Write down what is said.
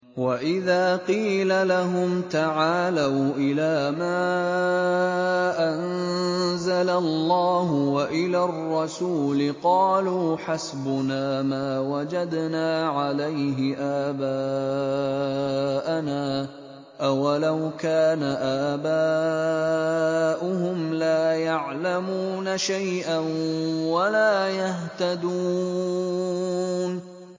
وَإِذَا قِيلَ لَهُمْ تَعَالَوْا إِلَىٰ مَا أَنزَلَ اللَّهُ وَإِلَى الرَّسُولِ قَالُوا حَسْبُنَا مَا وَجَدْنَا عَلَيْهِ آبَاءَنَا ۚ أَوَلَوْ كَانَ آبَاؤُهُمْ لَا يَعْلَمُونَ شَيْئًا وَلَا يَهْتَدُونَ